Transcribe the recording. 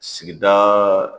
Sigida